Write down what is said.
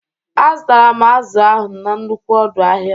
Azụtaram azụ ahụ n'nnukwu ọdụ ahia